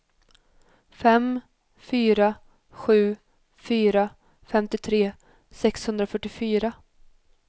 fem fyra sju fyra femtiotre sexhundrafyrtiofyra